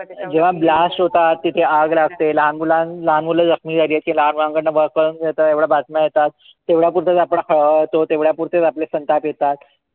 जेव्हा blast होतात तिथे आग लागते, लहान मुलं लहान मुलं जखमी झाली. लहान मुलांकडन work करून घेतात. एवढ्या बातम्या येतात. तेवढ्या पुरत आपण हळहळतो. तेवढ्या पुरते आपले संताप येतात.